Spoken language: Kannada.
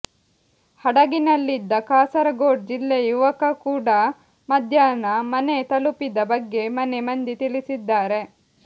ಹಡಗಿನಲ್ಲಿದ್ದ ಕಾಸರಗೋಡು ಜಿಲ್ಲೆಯ ಯುವಕ ಕೂಡ ಮಧಾಹ್ನ ಮನೆ ತಲುಪಿದ ಬಗ್ಗೆ ಮನೆ ಮಂದಿ ತಿಳಿಸಿದ್ದಾರೆ